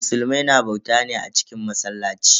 Musulmai na bauta ne a cikin masallaci.